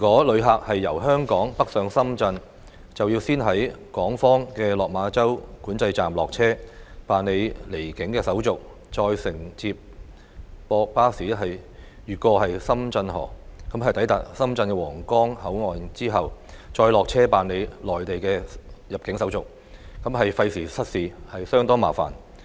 旅客若由香港北上深圳，需要先在港方的落馬洲管制站落車，辦理離境手續，再乘接駁巴士越過深圳河，抵達深圳皇崗口岸後，再落車辦理內地的入境手續，既費時失事，亦相當麻煩。